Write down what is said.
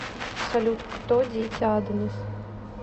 салют кто дети адонис